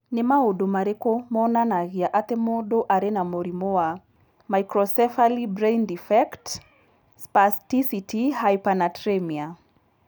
Nĩ maũndũ marĩkũ monanagia atĩ mũndũ arĩ na mũrimũ wa Microcephaly brain defect spasticity hypernatremia?